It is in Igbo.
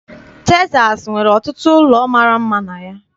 Texas nwere ọtụtụ ụlọ mara mma na ya.